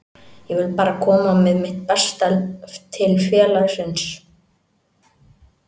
Ég vil bara koma með mitt besta til félagsins.